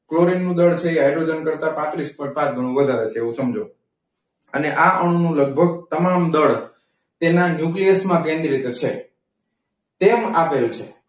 ક્લોરિનનું દળ છે એ હાઈડ્રોજન કરતા પાત્રીસ પોઈન્ટ પાંચ ઘણો વધારે છે એવું સમજો. અને લગભગ તમામ દળ તેના ન્યુક્લિયસ માં કેન્દ્રિત છે. તેમ આપેલ છે.